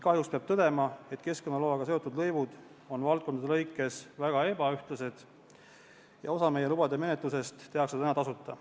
Kahjuks peab tõdema, et keskkonnaloaga seotud lõivud on valdkonniti väga ebaühtlased ja osa lubade menetlusest tehakse tasuta.